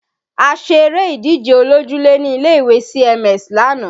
A ṣe eré ìdíje olójúlé ní ilé ìwé CMS lánàá